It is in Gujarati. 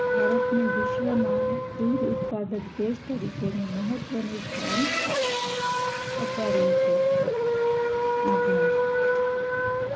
ભારતને વિશ્વમાં દૂધ ઉત્પાદક દેશ તરીકેનું મહત્વનું સ્થાન અપાવ્યું છે આભાર